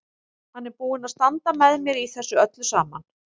Hann er búinn að standa með mér í þessu öllu saman.